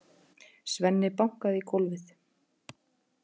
Svenni bankaði í gólfið.